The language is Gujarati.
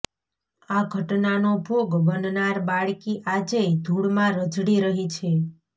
આ ઘટનાનો ભોગ બનનાર બાળકી આજેય ધુળમાં રઝળી રહી છે